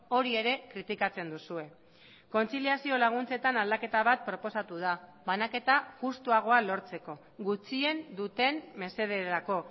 hori ere kritikatzen duzue kontziliazio laguntzetan aldaketa bat proposatu da banaketa justuagoa lortzeko gutxien duten mesederako